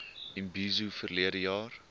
imbizo verlede jaar